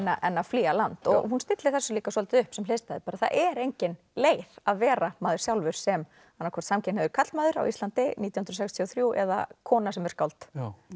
en að flýja land hún stillir þessu líka svolítið upp sem hliðstæðu bara það er engin leið að vera maður sjálfur sem annað hvort samkynhneigður karlmaður á Íslandi nítján hundruð sextíu og þrjú eða kona sem er skáld